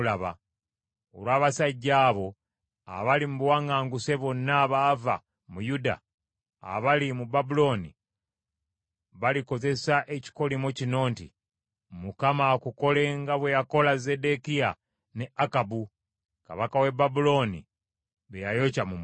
Olw’abasajja abo, abali mu buwaŋŋanguse bonna abaava mu Yuda abali mu Babulooni balikozesa ekikolimo kino nti, ‘ Mukama akukole nga bwe yakola Zeddekiya ne Akabu, kabaka w’e Babulooni be yayokya mu muliro.’